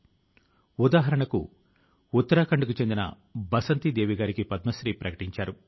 మన శాస్త్రవేత్త లు ఈ కొత్త రకం ఒమిక్రాన్ ను గురించి అదే పని గా అధ్యయనం చేస్తున్నారు